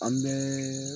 An bɛɛ